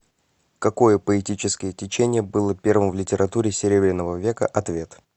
какое поэтическое течение было первым в литературе серебряного века ответ